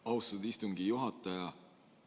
Austatud istungi juhataja!